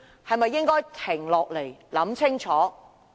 是否應該停下來，想清楚？